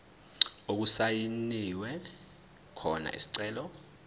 okusayinwe khona isicelo